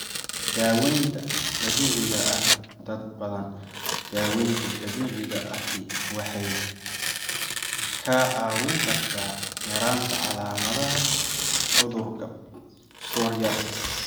Daawaynta Dabiiciga ah Dad badan, daawaynta dabiiciga ahi waxay kaa caawin kartaa yaraynta calaamadaha cudurka psoriasis.